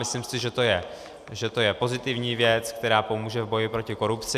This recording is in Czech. Myslím si, že to je pozitivní věc, která pomůže v boji proti korupci.